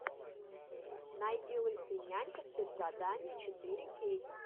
найди лысый нянька спецзадание четыре кей